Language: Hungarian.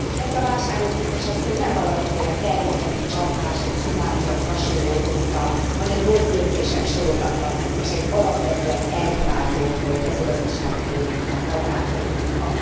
Ezt a válságot, biztos asszony, nem valamiféle természeti csapás, egy cunami vagy hasonló okozta, hanem rossz döntések sorozata és egy alapvetően elhibázott mezőgazdasági politika, agrárpolitika.